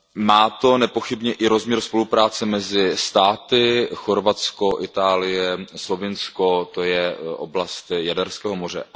Má to nepochybně i rozměr spolupráce mezi státy Chorvatsko, Itálie, Slovinsko, to je oblast Jaderského moře.